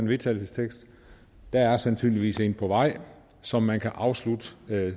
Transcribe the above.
vedtagelse der er sandsynligvis et på vej som man kan afslutte